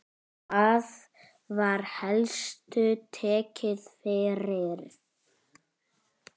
Hvað var helst tekið fyrir?